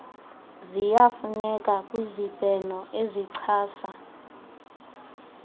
ziyafuneka kwizibheno ezichasa